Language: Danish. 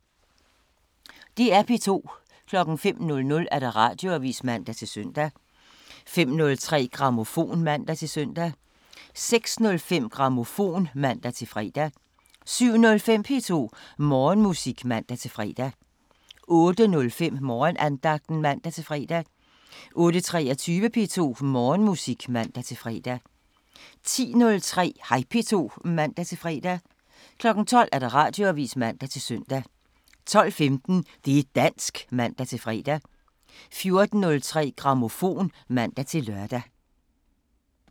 DR P2